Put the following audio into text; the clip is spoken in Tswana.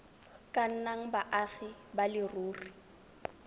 ka nnang baagi ba leruri